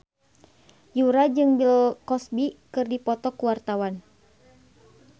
Yura jeung Bill Cosby keur dipoto ku wartawan